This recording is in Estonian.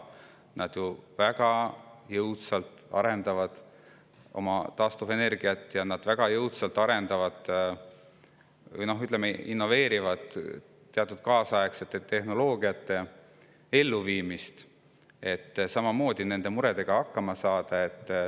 Nad arendavad väga jõudsalt oma taastuvenergiat ja innoveerivad teatud kaasaegsete tehnoloogiate elluviimist, et samamoodi nende muredega hakkama saada.